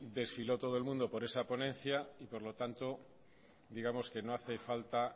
desfiló todo el mundo por esa ponencia y por lo tanto digamos que no hace falta